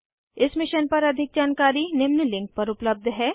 इस मिशन पर अधिक जानकारी निम्न लिंक पर उपलब्ध है